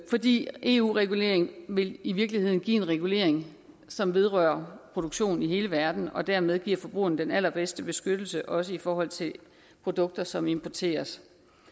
fordi eu reguleringen i virkeligheden vil give en regulering som vedrører produktion i hele verden og dermed give forbrugerne den allerbedste beskyttelse også i forhold til produkter som importeres